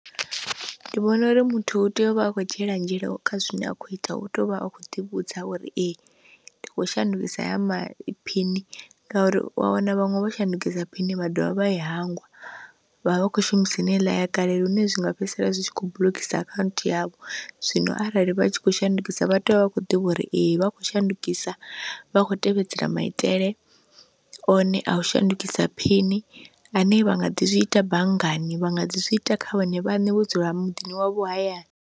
Ndi vhona uri muthu u tea uvha a kho dzhiela nzhele kha zwine a khou ita hu tea uvha a kho ḓi vhudza uri ee ndi kho shandukisa haya ma phini, ngauri wa wana vhaṅwe vho shandukisa phini vha dovha vha i hangwa vhavha vha khou shumisa heneiḽa ya kale lune zwi nga fhedzisela zwi kho buḽokisa akhaunthu yavho. Zwino arali vha tshi khou shandukisa vha tea u vha vha kho ḓivha uri ee vha khou shandukisa vha kho tevhedzela maitele one a u shandukisa phini ane vha nga ḓi zwi ita banngani vha nga ḓi zwiita kha vhone vhane vho dzula muḓini wavho hayani.